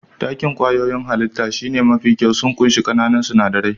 Takin kwayoyin hallita shine mafi kyau, sun ƙunshi ƙananan sinadarai.